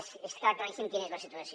és clara claríssima quina és la situació